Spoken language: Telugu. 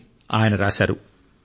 అని ఆయన రాశారు